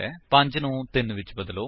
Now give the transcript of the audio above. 5 ਨੂੰ 3 ਵਿੱਚ ਬਦਲੋ